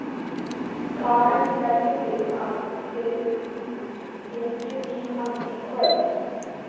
Karen: Teljið þið að þið gluggið í hann í kvöld?